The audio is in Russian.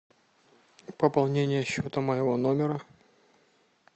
пополнение счета моего номера